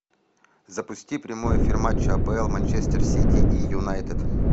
запусти прямой эфир матча апл манчестер сити и юнайтед